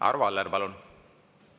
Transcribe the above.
Arvo Aller, palun!